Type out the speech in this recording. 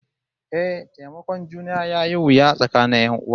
Eh, taimakon juna yayi wuya tsakanin 'yan'uwa